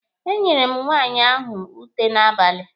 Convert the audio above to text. E nyere m nwaanyị ahụ ute n'abalị.